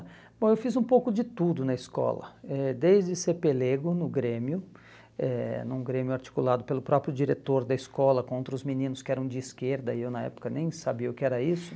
Bom, eu fiz um pouco de tudo na escola, eh desde ser pelego no Grêmio, eh num Grêmio articulado pelo próprio diretor da escola contra os meninos que eram de esquerda, e eu na época nem sabia o que era isso.